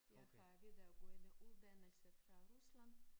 Jeg plejede at gå i en uddannelse fra Rusland